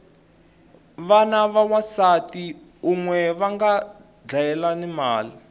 vana va wansati unwe vanga dlayelana mali